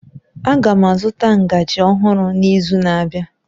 Aga m azụta ngaji ọhụrụ n'izu na-abịa